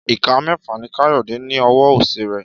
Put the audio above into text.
Ìka mẹ́fà ni Káyọ̀dé ní ní ọwọ́ òsì rẹ̀